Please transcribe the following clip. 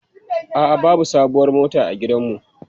A'a, babu sabuwar mota a gidanmu.